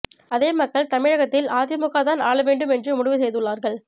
அதே மக்கள் தமிழகத்தில் அதிமுகதான் ஆள வேண்டும் என்று முடிவு செய்துள்ளார்கள்